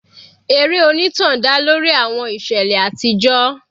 Eré onítàn dá lórí àwọn ìṣẹ̀lẹ̀ àtijọ́.